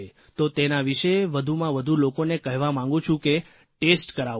તો તેના વિશે વધુમાં વધુ લોકોને કહેવા માગું છું કે ટેસ્ટ કરાવો